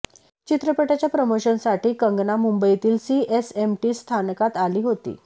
चित्रपटाच्या प्रमोशनसाठी कंगना मुंबईतील सीएसएमटी स्थानकात आली होती